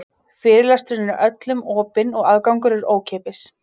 Fyrirlesturinn er öllum opinn og aðgangur er ókeypis.